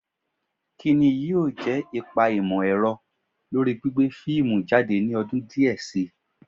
Kí ni yóò jẹ́ ipa ìmọ̀-ẹ̀rọ lórí gbígbé fíìmù jáde ní ọdún díẹ̀ si